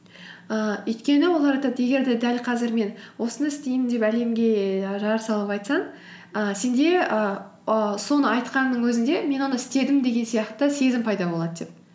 ііі өйткені олар айтады егер де дәл қазір мен осыны істеймін деп әлемге жар салып айтсаң і сенде ііі соны айтқанның өзінде мен оны істедім деген сияқты сезім пайда болады деп